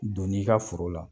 Donni n'i ka foro la.